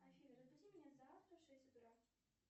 афина разбуди меня завтра в шесть утра